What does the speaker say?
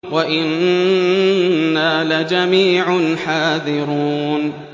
وَإِنَّا لَجَمِيعٌ حَاذِرُونَ